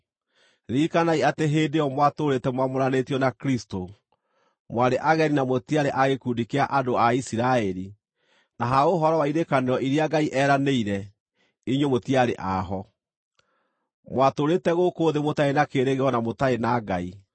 ririkanai atĩ hĩndĩ ĩyo mwatũũrĩte mwamũranĩtio na Kristũ, mwarĩ ageni na mũtiarĩ a gĩkundi kĩa andũ a Isiraeli na ha ũhoro wa irĩkanĩro iria Ngai eeranĩire, inyuĩ mũtiarĩ a ho. Mwatũũrĩte gũkũ thĩ mũtarĩ na kĩĩrĩgĩrĩro na mũtarĩ na Ngai.